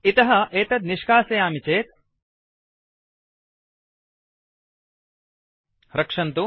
इतः एतत् निष्कासयामि चेत् - रक्षन्तु